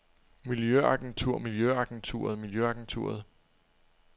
miljøagenturet miljøagenturet miljøagenturet